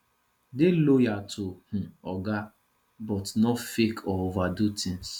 dey loyal to um oga but no fake or overdo things